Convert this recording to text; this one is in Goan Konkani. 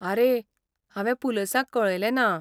आरे, हांवें पुलिसांक कळयलें ना.